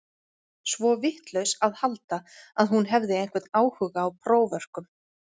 Svo vitlaus að halda að hún hefði einhvern áhuga á próförkum.